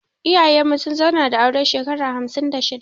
Iyayen mu sun zauna da aure shekara hamsin da shida